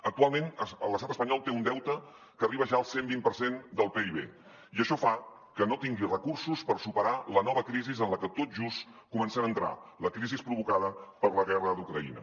actualment l’estat espanyol té un deute que arriba ja al cent vint per cent del pib i això fa que no tingui recursos per superar la nova crisi en la que tot just comencem a entrar la crisi provocada per la guerra d’ucraïna